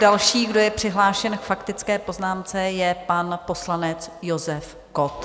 Další, kdo je přihlášen k faktické poznámce, je pan poslanec Josef Kott.